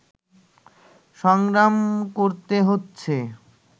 সংগ্রাম করতে হচ্ছে